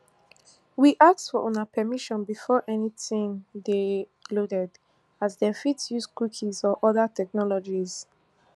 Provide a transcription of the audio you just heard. we ask for una permission before anytin dey loaded as dem fit dey use cookies and oda technologies